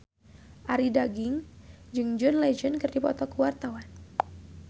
Arie Daginks jeung John Legend keur dipoto ku wartawan